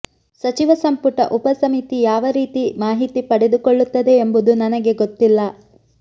ಸಚಿವ ಸಂಪುಟ ಉಪ ಸಮಿತಿ ಯಾವ ರೀತಿ ಮಾಹಿತಿ ಪಡೆದುಕೊಳ್ಳುತ್ತದೆ ಎಂಬುದು ನನಗೆ ಗೊತ್ತಿಲ್ಲ